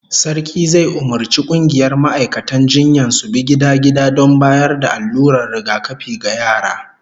Sarki zai umurci kungiyar ma'aikatan jinyan su bi gida-gida don bayar da allurar rigakafi ga yara